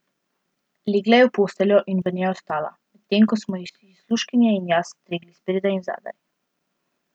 Legla je v posteljo in v njej ostala, medtem ko smo ji služkinje in jaz stregli spredaj in zadaj.